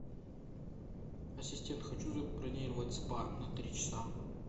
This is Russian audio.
ассистент хочу забронировать спа на три часа